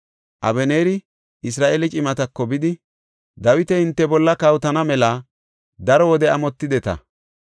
Abeneeri Isra7eele cimatako bidi, “Dawiti hinte bolla kawotana mela daro wode amotideta.